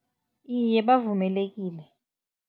Iye, bavumelekile.